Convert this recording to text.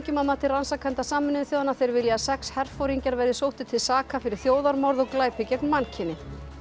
að mati rannsakenda Sameinuðu þjóðanna þeir vilja að sex herforingjar verði sóttir til saka fyrir þjóðarmorð og glæpi gegn mannkyni